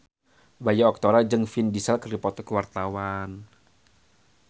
Bayu Octara jeung Vin Diesel keur dipoto ku wartawan